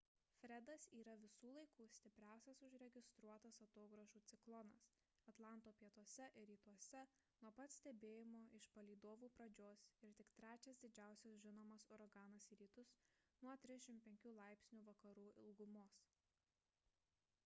fredas yra visų laikų stipriausias užregistruotas atogrąžų ciklonas atlanto pietuose ir rytuose nuo pat stebėjimo iš palydovų pradžios ir tik trečias didžiausias žinomas uraganas į rytus nuo 35° vakarų ilgumos